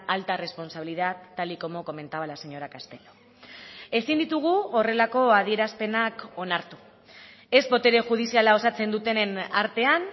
alta responsabilidad tal y como comentaba la señora castelo ezin ditugu horrelako adierazpenak onartu ez botere judiziala osatzen dutenen artean